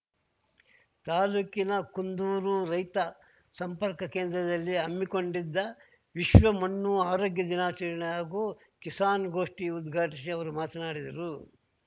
ತಾಲೂಕಿನ ಕುಂದೂರು ರೈತ ಸಂಪರ್ಕ ಕೇಂದ್ರದಲ್ಲಿ ಹಮ್ಮಿಕೊಂಡಿದ್ದ ವಿಶ್ವಮಣ್ಣು ಆರೋಗ್ಯ ದಿನಾಚರಣೆ ಹಾಗೂ ಕಿಸಾನ್‌ಗೋಷ್ಠಿ ಉದ್ಘಾಟಿಸಿ ಅವರು ಮಾತನಾಡಿದರು